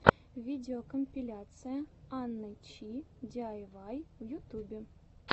видеокомпиляция анны чи диайвай в ютубе